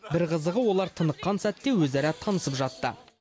бір қызығы олар тыныққан сәтте өзара танысып жатты